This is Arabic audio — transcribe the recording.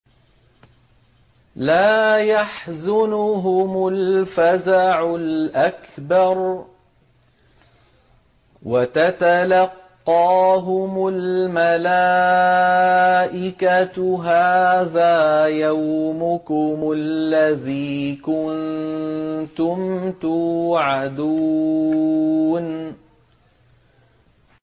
لَا يَحْزُنُهُمُ الْفَزَعُ الْأَكْبَرُ وَتَتَلَقَّاهُمُ الْمَلَائِكَةُ هَٰذَا يَوْمُكُمُ الَّذِي كُنتُمْ تُوعَدُونَ